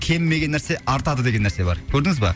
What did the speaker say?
кемімеген нәрсе артады деген нәрсе бар көрдіңіз ба